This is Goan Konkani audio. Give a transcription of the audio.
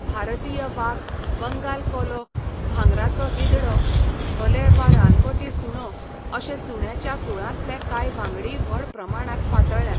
भारतीय वाग, बंगाल कोलो, भांगराचो गीदडो, धोले वा रानवटी सुणो अशे सुण्याच्या कुळांतले कांय वांगडीय व्हड प्रमाणांत पातळ्ळ्यात.